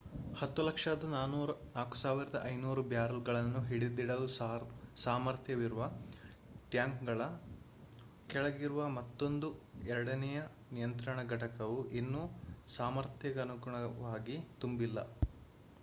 104,500 ಬ್ಯಾರೆಲ್‌ಗಳನ್ನು ಹಿಡಿದಿಡಲು ಸಾಮರ್ಥ್ಯವಿರುವ ಟ್ಯಾಂಕ್‌ಗಳ ಕೆಳಗಿರುವ ಮತ್ತೊಂದು ಎರಡನೆಯ ನಿಯಂತ್ರಣ ಘಟಕವು ಇನ್ನೂ ಸಾಮರ್ಥ್ಯಕನುಗುಣವಾಗಿ ತುಂಬಿಲ್ಲ